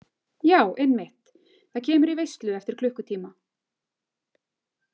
Já einmitt, það kemur í veislu eftir klukkutíma